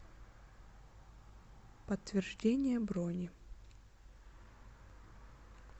подтверждение брони